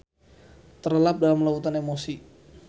Terlelap dalam lautan emosi.